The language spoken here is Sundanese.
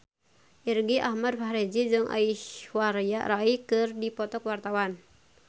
Irgi Ahmad Fahrezi jeung Aishwarya Rai keur dipoto ku wartawan